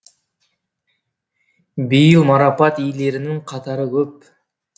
биыл марапат иелеренің қатары көп